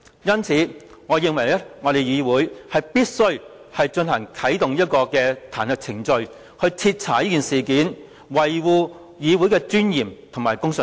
因此，我認為議會必須啟動彈劾程序，徹查此事，維護議會的尊嚴及公信力。